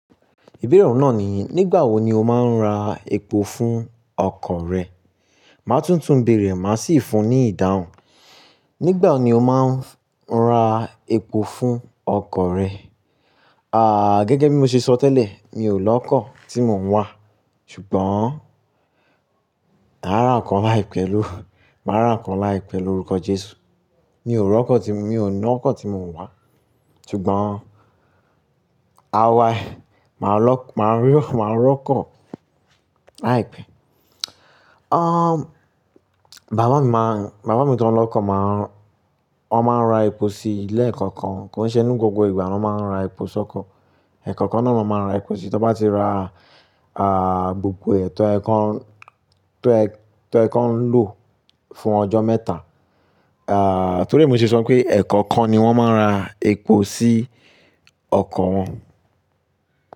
Ìbéèrè ọ̀nà ni, nígbà wo ni o máa ń ra epo fún ọkọ̀ rẹ? Màá tún tún béèrè, màá sì fún ní ìdáhùn. Nígbà wo ni o máa ń ra epo fún ọkọ̀ rẹ? Gẹ́gẹ́ bí mo ṣe sọ tẹ́lẹ̀, mi ò lọ́kọ̀ tí mò ń wà, ṣùgbọ́n màá ra ọkọ̀ láìpẹ́ lórí, màá ra ọkọ̀ láìpẹ́ lórúkọ Jésù. Mi ò rọ́kọ̀, mi ò ná ọkọ̀ tí mò ń wà, ṣùgbọ́n àwa, màá lọ, màá rí, màá rọ́kọ̀ láìpẹ́. Bàbá mi máa ń, bàbá mi tó ń lọ́kọ̀ máa ń, wọn máa ń ra epo sí lẹ̀ẹ̀kọ̀kan, kòí ṣe ni gbogbo ìgbà wọn máa ń ra epo sọ́kọ̀. Ẹ̀ẹ̀kọ̀kan náà ló máa ń ra epo síi. Tí wọ́n bá ti ra, gbogbo toye kan, tọ́yẹ, tọ́yẹ̀ kan ń lò fún ọjọ́ mẹ́ta. Torí ẹ̀ mo ṣe sọ pé ẹ̀ẹ̀kọ̀kan ni wọ́n máa ń ra epo sí ọkọ̀ wọn.